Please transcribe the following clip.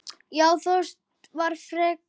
Já, Þorgeir var frekur.